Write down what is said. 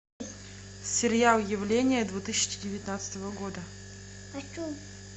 сериал явление две тысячи девятнадцатого года